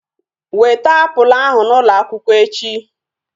Weta apụl ahu n'ụlọ akwụkwọ echi!